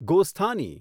ગોસ્થાની